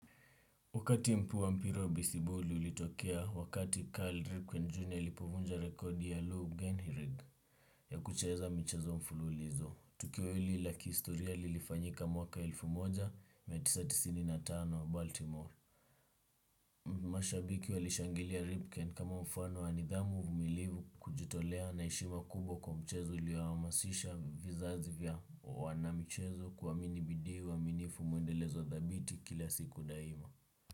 Wakati mpu wa mpira besiboli liulitokea, wakati Karl Ripken Jr. Alipovunja rekodi ya Lou Geinhrig. Ya kucheza michezo mfululizo, tukio hili la ki istoria lilifanyika mwaka elfu moja, mia tisa tisini na tano Baltimore. Masha Biki walishangilia Ripken kama mfano wa nidhamu uvumilivu kujitolea naishima kubwa kwa mchezo liwaamasisha vizazi vya wana mchezo kuaminibidi uaminifu mwendelezo dhabiti kila siku daima.